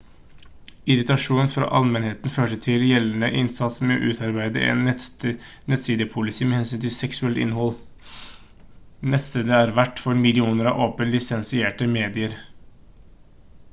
irritasjon fra allmennheten førte til gjeldende innsats med å utarbeide en nettsidepolicy med hensyn til seksuelt innhold nettstedet er vert for millioner av åpent-lisensierte medier